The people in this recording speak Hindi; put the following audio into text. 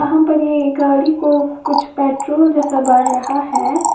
यहां पर ये गाड़ी को कुछ पेट्रोल जैसा भर रहा है।